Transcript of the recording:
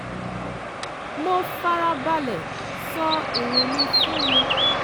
mo fara balẹ̀ sọ èrò mi fún un